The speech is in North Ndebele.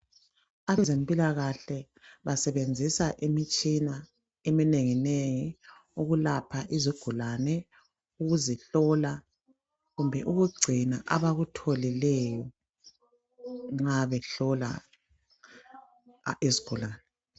Abezimpilakahle basebenzisa imitshina eminenginengi ukulapha izigulane, ukuzihlola kumbe ukugcina abakutholileyo nxa behlola izigulane.